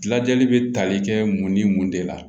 Lajɛli bɛ tali kɛ mun ni mun de la